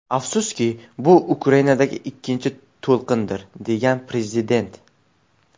Afsuski, bu Ukrainadagi ikkinchi to‘lqindir”, degan prezident.